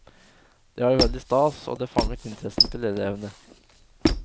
Det var veldig stas, og det fanget interessen til elevene.